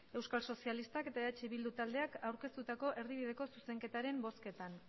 euskal sozialistak eta eh bildu taldeak aurkeztutako erdibideko zuzenketaren bozketan